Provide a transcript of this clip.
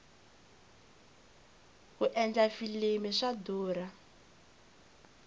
ku endla filimi swa durha